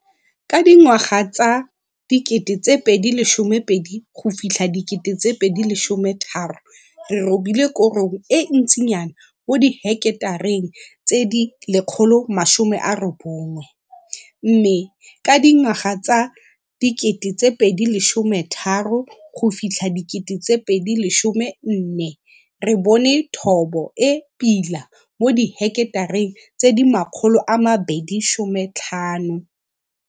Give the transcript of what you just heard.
Ka dingwaga tsa 2012-2013 re robile korong e ntsinyana mo diheketareng tse 190. Mme ka dingwaga tsa 2013-2014 re bone thobo e pila mo diheketareng tse 250.